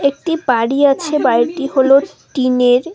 একটি বাড়ি আছে বাড়িটি হল টিন -এর।